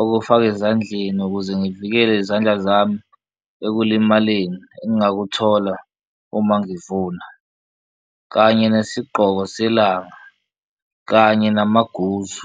okufaka ezandleni ukuze ngivikele izandla zami ekulimaleni engakuthola uma ngivuna, kanye nesigqoko selanga, kanye namaguzu.